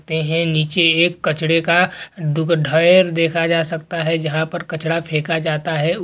ते हैं। नीचे एक कचड़े का दुग ढैर देखा जा सकता है जहाँं पर कचड़ा फेका जाता है। उ --